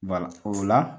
o la